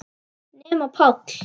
Nema Páll.